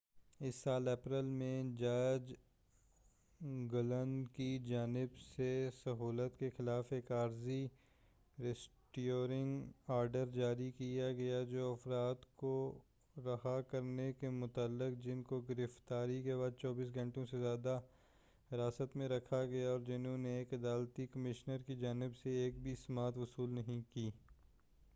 اس سال اپریل میں جج گلن کی جانب سے سہولت کے خلاف ایک عارضی ریسٹریننگ آرڈر جاری کیا گیا جو اُن افراد کو رہا کرنے سے متعلق تھا جن کو گرفتاری کے بعد 24 گھنٹے سے زیادہ حراست میں رکھا گیا اور جنہوں نے ایک عدالتی کمشنر کی جانب سے ایک بھی سماعت وصول نہیں کی